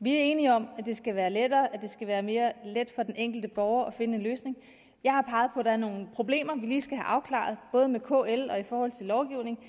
vi er enige om at det skal være lettere at det skal være mere let for den enkelte borger at finde en løsning jeg har peget på at der er nogle problemer vi lige skal have afklaret både med kl og i forhold til lovgivningen